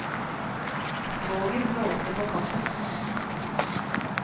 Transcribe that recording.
Svoger blåste på kaffen.